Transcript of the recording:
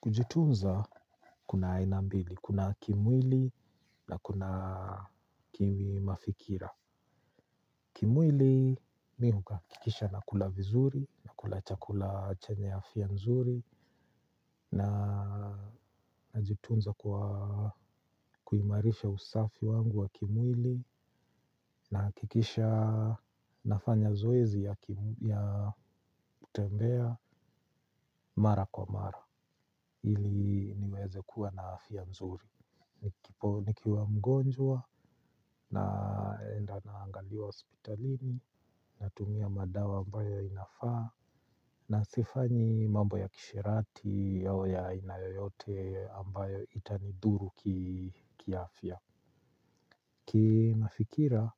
Kujitunza kuna aina mbili, kuna kimwili na kuna kimi mafikira. Kimwili mi huhakikisha nakula vizuri, nakula chakula chenye afya nzuri, najitunza kwa kuimarisha usafi wangu wa kimwili, nahakikisha nafanya zoezi ya kutembea mara kwa mara. Ili niweze kuwa na afya nzuri. Nikiwa mgonjwa naenda naangaliwa hospitalini. Natumia madawa ambayo inafaa. Na sifanyi mambo ya kisherati au ya aina yoyote ambayo itanidhuru kiafya. Kimafikira